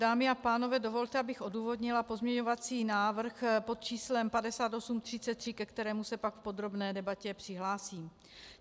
Dámy a pánové, dovolte, abych odůvodnila pozměňovací návrh pod číslem 5833, ke kterému se pak v podrobné debatě přihlásím.